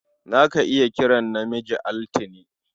Za ka iya kiran namiji Altine.